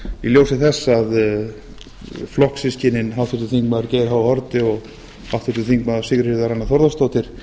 í ljósi þess að flokkssystkinin háttvirtur þingmaður geir h haarde og háttvirtur þingmaður sigríður anna þórðardóttir